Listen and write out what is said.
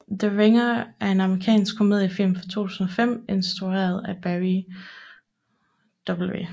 The Ringer er en amerikansk komediefilm fra 2005 instrueret af Barry W